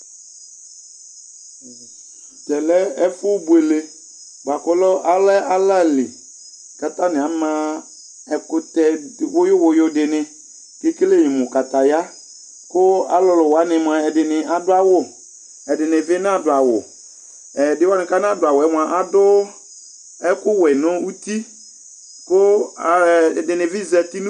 Ɛmɛ lɛ ɛfu buélé boa ku ɔlɛ ală li ka tani ama ɛkutɛ wuyuwuyu dini ké kélé mu kataya ku ɔlulu wani moa ɛdini adu awu ɛdini bi na du awu ɛdi wani ka nadu awuɛ moa adu ɛku wɛ nu uti ku ɛdini bi zɛti